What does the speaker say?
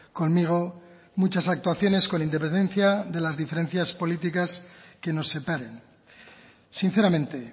conmigo muchas actuaciones con independencia de las diferencias políticas que nos separen sinceramente